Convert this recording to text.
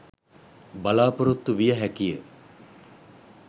බලාපොරොත්තු විය හැකිය.